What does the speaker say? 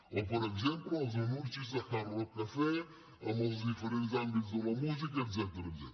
o per exemple els anuncis de hard rock cafe en els diferents àmbits de la música etcètera